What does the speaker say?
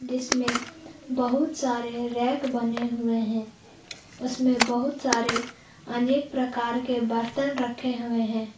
इसमें बहुत सारे रैक बने हुए हैं उसमें बहुत सारे अनेक प्रकार के बर्तन रखे हुए हैं।